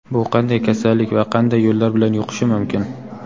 bu qanday kasallik va qanday yo‘llar bilan yuqishi mumkin?.